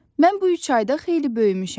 Mən bu üç ayda xeyli böyümüşəm.